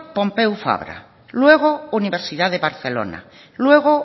pompeu frabra luego universidad de barcelona luego